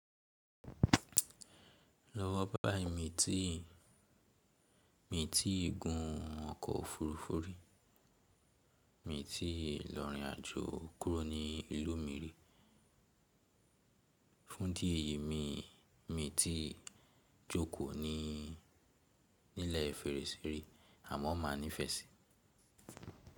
Lọ́wọ́ báyìí mi ti gun ọkọ̀ òfurufú rí, mi ti lọ̀ rìn àjò kúrò ní ìlú mi rí. Fún idí ẹ̀yì, mi ti jókòó ní ilẹ̀ fèrèsé àmọ́ ma nífẹ̀ẹ́ si.